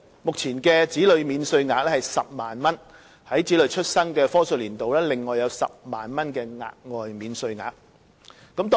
目前的子女免稅額是10萬元。在子女出生的課稅年度，另外有10萬元的額外免稅額。